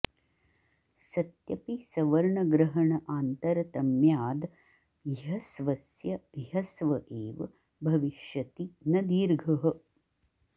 सत्यपि सवर्णग्रहण आन्तरतम्याद् ह्यस्वस्य ह्यस्व एव भविष्यति न दीर्घः